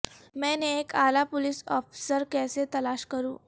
میں نے ایک اعلی پولیس افسر کیسے تلاش کروں